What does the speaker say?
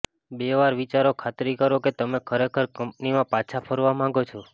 બે વાર વિચારો ખાતરી કરો કે તમે ખરેખર કંપનીમાં પાછા ફરવા માંગો છો